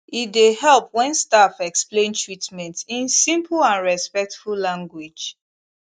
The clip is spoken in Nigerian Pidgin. e dey help when staff explain treatment in simple and respectful language